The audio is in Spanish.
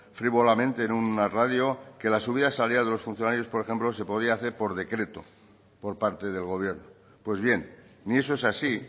frívolamente en una radio que la subida salarial de los funcionarios por ejemplo se podía hacer por decreto por parte del gobierno pues bien ni eso es así